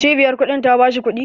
Cibiyar kuɗin ta bashi kuɗi